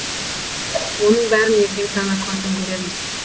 оның бәрін ертең таң атқан соң көрерміз